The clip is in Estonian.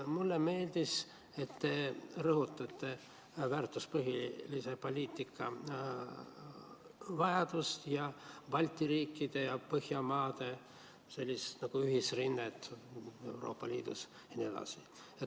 Mulle meeldis, et te rõhutate väärtuspõhise poliitika vajadust ning Balti riikide ja Põhjamaade ühisrinnet Euroopa Liidus jne.